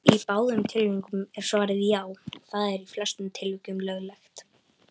Í báðum tilvikum er svarið: Já, það er í flestum tilvikum löglegt.